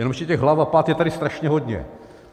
Jenže těch hlav a pat je tady strašně hodně.